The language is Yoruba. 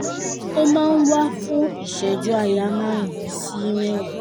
ó máa ń wà fún ìṣẹ́jú àáyá márùn-ún sí mẹ́wàá